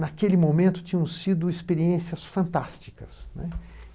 naquele momento tinham sido experiências fantásticas, né.